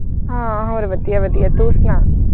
ਹਾਂ ਹੋਰ ਵਧੀਆ ਵਧੀਆ ਤੂੰ ਸੁਣਾ।